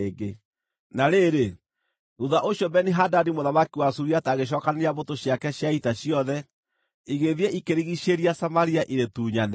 Na rĩrĩ, thuutha ũcio Beni-Hadadi mũthamaki wa Suriata agĩcookanĩrĩria mbũtũ ciake cia ita ciothe, igĩthiĩ, ikĩrigiicĩria Samaria irĩtunyane.